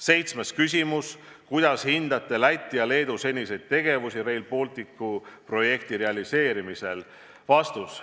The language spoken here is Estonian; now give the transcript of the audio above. Seitsmes küsimus: "Kuidas hindate Läti ja Leedu seniseid tegevusi Rail Balticu projekti realiseerimisel?